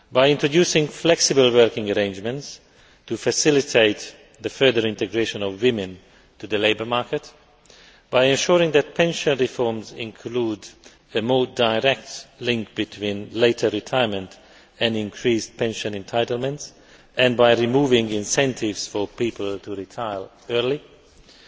introducing flexible working arrangements to facilitate the further integration of women into the labour market, ensuring that pension reforms include a more direct link between later retirement and increased pension entitlements, removing incentives for people to retire early and